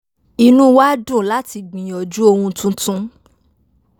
inú wa dùn láti gbìyànjú ohun tuntun